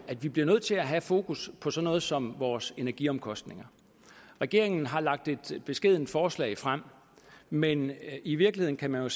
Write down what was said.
at vi blive nødt til at have fokus på sådan noget som vores energiomkostninger regeringen har lagt et beskedent forslag frem men i virkeligheden kan man jo